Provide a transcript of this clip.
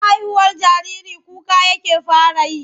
Ana haihuwar jariri kuka yake fara yi.